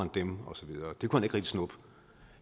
dem osv det kunne